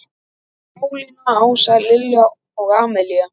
Pálína, Ása, Lilja og Amalía.